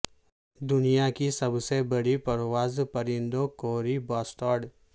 دنیا کی سب سے بڑی پرواز پرندوں کووری باسسٹارڈ